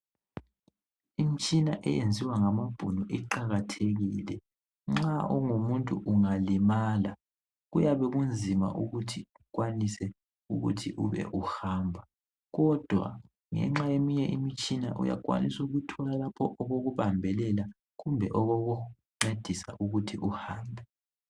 Imitshina eyenziwa ngamabhunu iqakathekile nxa ungumuntu ungalimala kuyabe kunzima ukuthi ukwanise ukuthi ube uhamba kodwa ngenxa yeminye imitshina uyakwanisa ukuthola lapho okubambelela kumbe okokuncedisa ukuthi uhambe.